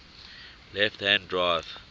left hand drive